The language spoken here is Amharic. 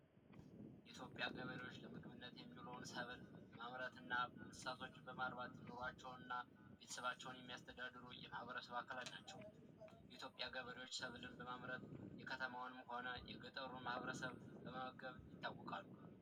የኢትዮጵያ ገበሬዎች የተለያዩ ሰብሎችን በማምረትና እንስሳቶችን በማርባት ኑሯቸውን እና ቤተሰቦቻቸውን የሚያስተዳድሩ የማህበረሰብ አካላት ናቸው እኛ ገበሬዎች ሰብልን በማምረት የከተማውንም ሆነ የገጠሩን ማበረሰብ በመመገብ ይታወቃል።